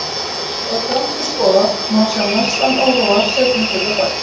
Ef grannt er skoðað, má sjá mestan óróa seinni hluta dags.